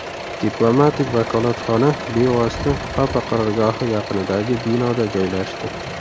Diplomatik vakolatxona bevosita papa qarorgohi yaqinidagi binoda joylashdi.